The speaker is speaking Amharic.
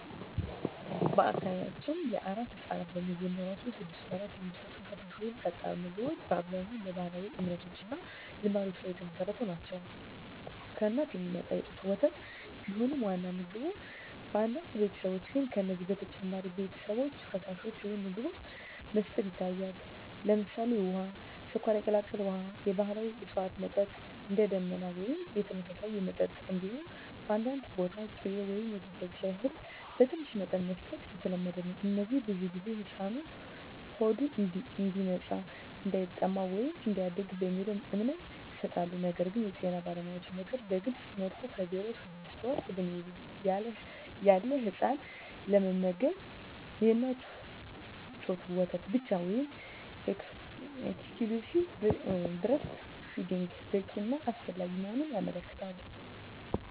በአካባቢያችን ለአራስ ሕፃናት በመጀመሪያዎቹ ስድስት ወራት የሚሰጡ ፈሳሽ ወይም ጠጣር ምግቦች በአብዛኛው በባህላዊ እምነቶች እና ልማዶች ላይ የተመሠረቱ ናቸው። ከእናት የሚመጣ የጡት ወተት ቢሆንም ዋናው ምግብ፣ በአንዳንድ ቤተሰቦች ግን ከዚህ በተጨማሪ ሌሎች ፈሳሾች ወይም ምግቦች መስጠት ይታያል። ለምሳሌ፣ ውሃ፣ ስኳር የቀላቀለ ውሃ፣ የባህላዊ እፅዋት መጠጥ (እንደ “ደመና” ወይም የተመሳሳይ መጠጦች)፣ እንዲሁም በአንዳንድ ቦታ ቅቤ ወይም የተፈጨ እህል በትንሽ መጠን መስጠት የተለመደ ነው። እነዚህ ብዙ ጊዜ “ሕፃኑ ሆዱ እንዲነጻ”፣ “እንዳይጠማ” ወይም “እንዲያድግ” በሚለው እምነት ይሰጣሉ። ነገር ግን የጤና ባለሙያዎች ምክር በግልፅ መልኩ ከ0–6 ወር ዕድሜ ያለ ሕፃን ለመመገብ የእናት ጡት ወተት ብቻ (exclusive breastfeeding) በቂ እና አስፈላጊ መሆኑን ያመለክታሉ።